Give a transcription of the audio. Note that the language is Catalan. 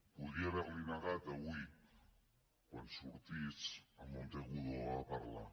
podria haver li ho negat avui quan sortís en monteagudo a parlar